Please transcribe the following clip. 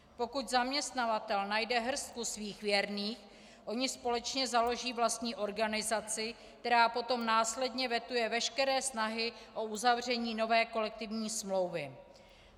Pokud zaměstnavatel najde hrstku svých věrných, oni společně založí vlastní organizaci, která potom následně vetuje veškeré snahy o uzavření nové kolektivní smlouvy.